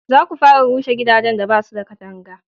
za ku fara rushe gidajen da basu da katanga!